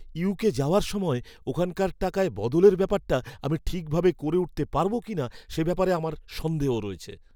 UK যাওয়ার সময় ওখানকার টাকায় বদলের ব্যাপারটা আমি ঠিকভাবে করে উঠতে পারবো কিনা সে ব্যাপারে আমার সন্দেহ রয়েছে।